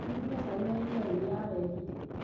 Arugire cai na iria rĩrĩa arehire